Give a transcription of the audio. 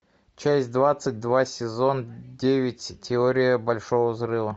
часть двадцать два сезон девять теория большого взрыва